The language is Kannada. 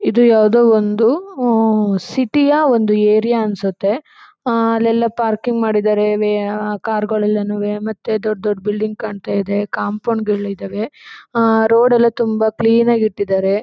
ಇದು ಯಾವುದೊ ಒಂದು ಆಮ್ ಸಿಟಿ ಯಾ ಒಂದು ಏರಿಯಾ ಅನಿಸುತ್ತೆ . ಆ ಅಲ್ಲೆಲ್ಲ ಪಾರ್ಕಿಂಗ್ ಮಾಡಿದ್ದಾರೆ ವೇ ಕಾರು ಗಳು ಎಲ್ಲಾನೂವೆ ಮತ್ತೆ ದೊಡ್ ದೊಡ್ಡ ಬಿಲ್ಡಿಂಗ್ ಕಾಣ್ತಾ ಇದೆ ಕಾಂಪೌಂಡ್ ಗಳಿದಾವೆ ಆ ರೋಡ್ ಎಲ್ಲ ತುಂಬಾ ಕ್ಲೀನ್ ಆಗಿ ಇಟ್ಟಿದ್ದಾರೆ.